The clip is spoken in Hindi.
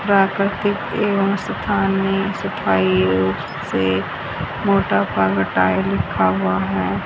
प्राकृतिक एवम स्थानीय सफाई अ से मोटा लिखा हुआ है।